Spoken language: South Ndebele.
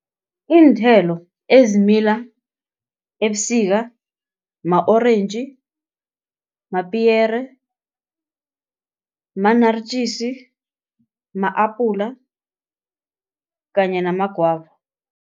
Iinthelo ezimila ebusika, ma-orentji, mapiyere, ma-naaritjies, ma-apula kanye namagwava.